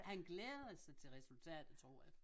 Han glæder sig til resultatet tror jeg